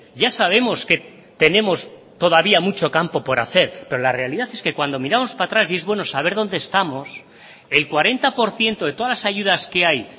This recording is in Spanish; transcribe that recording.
ya sabemos que tenemos todavía mucho campo por hacer pero la realidad es que cuando miramos para atrás y es bueno saber dónde estamos el cuarenta por ciento de todas las ayudas que hay